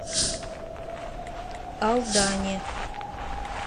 алдане